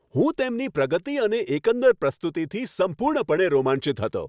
હું તેમની પ્રગતિ અને એકંદર પ્રસ્તુતિથી સંપૂર્ણપણે રોમાંચિત હતો.